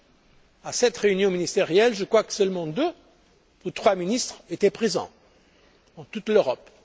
Roms. Lors de cette réunion ministérielle je crois que seuls deux ou trois ministres étaient présents, pour toute l'Europe.